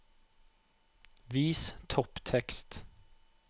Vis topptekst